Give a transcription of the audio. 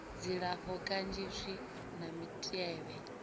dzilafho kanzhi zwi na mitevhe